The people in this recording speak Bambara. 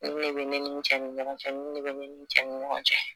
Nin ne be ne ni n cɛ ni ɲɔgɔn cɛ nin ne be ne ni n cɛn ni ɲɔgɔn cɛ